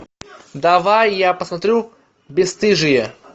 давай я посмотрю бесстыжие